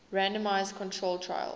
randomized controlled trials